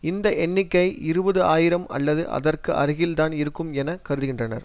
இந்த எண்ணிக்கை இருபது ஆயிரம் அல்லது அதற்கு அருகில் தான் இருக்கும் என கருதுகின்றனர்